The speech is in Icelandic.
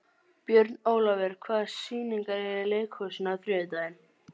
Björnólfur, hvaða sýningar eru í leikhúsinu á þriðjudaginn?